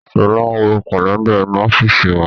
Sọlá ń wo Kálẹ́ndà inú ọ́fíìsì wa